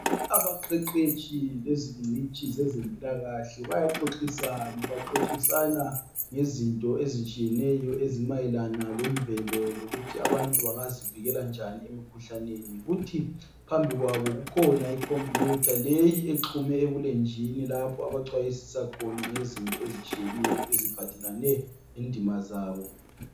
Abaqeqetshi bezingcitshi ezempilakahle, bayaxoxisana. Baxoxisana ngezinto ezitshiyeneyo, ezimayelana lemvelo. Lokurhi abantu bangazivika njani emikhuhlaneni. Kuthi phambi kwabo kukhona icomputer, leyi exhunywe ebulenjini. Lapho abaxwayisisa ngezinto ezitshiyeneyo. Eziphathelene lendima zabo.